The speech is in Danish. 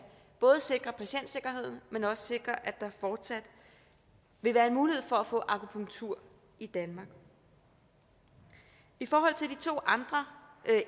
sikre patientsikkerheden men også sikre at der fortsat vil være en mulighed for at få akupunktur i danmark i forhold til de to andre